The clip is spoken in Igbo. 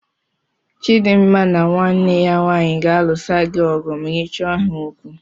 Chidimma na nwanne ya nwaanyị ga-alụsa gị ọgụ ma ị chọọ ha okwu.